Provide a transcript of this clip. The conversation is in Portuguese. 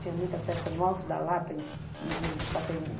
Tinha muita festa no Alto da Lapa e e no Pacaembu.